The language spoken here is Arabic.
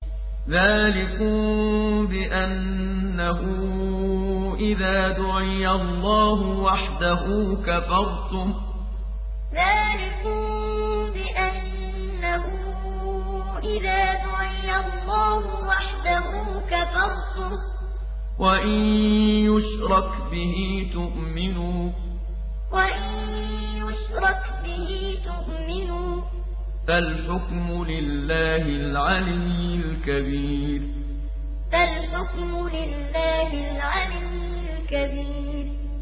ذَٰلِكُم بِأَنَّهُ إِذَا دُعِيَ اللَّهُ وَحْدَهُ كَفَرْتُمْ ۖ وَإِن يُشْرَكْ بِهِ تُؤْمِنُوا ۚ فَالْحُكْمُ لِلَّهِ الْعَلِيِّ الْكَبِيرِ ذَٰلِكُم بِأَنَّهُ إِذَا دُعِيَ اللَّهُ وَحْدَهُ كَفَرْتُمْ ۖ وَإِن يُشْرَكْ بِهِ تُؤْمِنُوا ۚ فَالْحُكْمُ لِلَّهِ الْعَلِيِّ الْكَبِيرِ